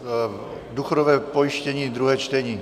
Důchodové pojištění, druhé čtení.